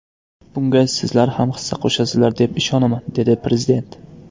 Bunga sizlar ham hissa qo‘shasizlar deb ishonaman”, dedi Prezident.